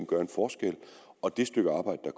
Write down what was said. gøre en forskel og det stykke arbejde der